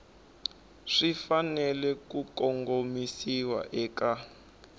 swi fanele ku kongomisiwa eka